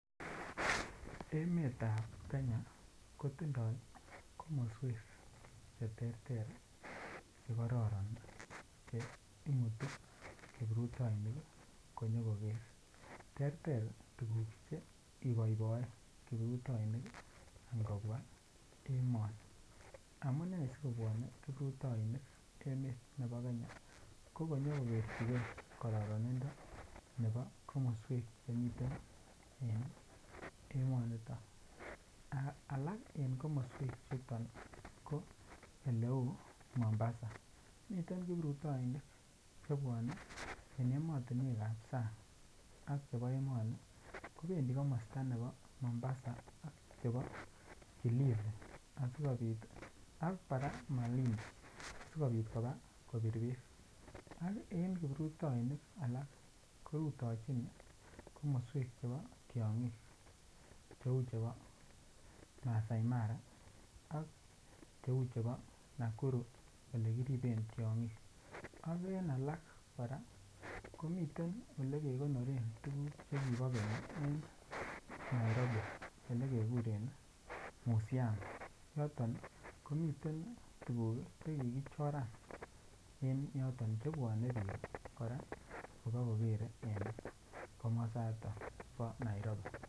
Emetab Kenya ko tindoi komoswek Che terter Che kororon Che imutu kiprutoinik konyokoker terter tuguk Che iboeboe kiprutoinik ngobwa emoni amune sikobwone kiprutoinik emet nebo Kenya ko konyo koger chigei kororonindo nebo komoswek Che miten en emonito alak en komoswechoto ko oleu Mombasa miten kiprutoinik Che bwone en emotinwek ab sang ak chebo emoni kobendi komosta nebo Mombasa ak kilifi ak kora malindi asikobit koba kobir bek ak kiprutoinik alak korutechin komoswek Che bo tiongik cheu chebo maasai mara ak cheu chebo Nakuru Ole kiriben tiongik ak en alak kora komiten Ole kekonoren tuguk Che kibo keny en Nairobi Ole kekuren musiam yoton komiten Che kikichongan en yoton chebwone bik kora kobakokere en komasato bo Nairobi